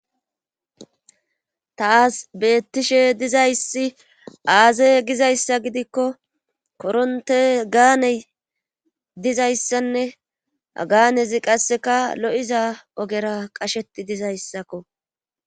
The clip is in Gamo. taasi beettishe dizayssi aaze gizayssa gidikko koronte gaane dizayssanne ha gaanezi qasseka lo'iza ogera qasheti dizayssakko